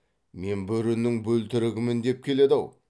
мен бөрінің бөлтірігімін деп келеді ау